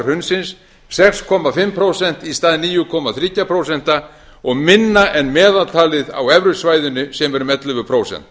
hrunsins sex og hálft prósent í stað níu komma þriggja prósenta og minna en meðaltalið á evrusvæðinu sem er um ellefu prósent